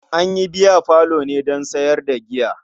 An yi biyafalo ne don sayar da giya.